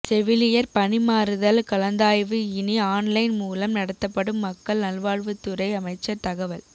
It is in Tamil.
செவிலியர் பணி மாறுதல் கலந்தாய்வு இனி ஆன்லைன் மூலம் நடத்தப்படும் மக்கள் நல்வாழ்வுத்துறை அமைச்சர் தகவல்